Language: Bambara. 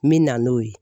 Min na n'o ye